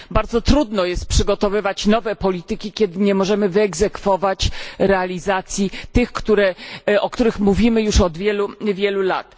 Bardzo trudno jest przygotowywać nową politykę, kiedy nie możemy wyegzekwować realizacji tej, o której mówimy już od wielu, wielu lat.